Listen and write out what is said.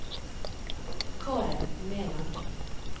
Karen Mæland